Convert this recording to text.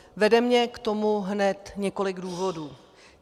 Vede mě k tomu hned několik důvodů.